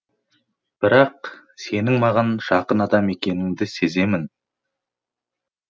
бірақ сенің маған жақын адам екенінді сеземін